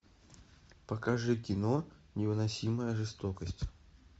покажи кино невыносимая жестокость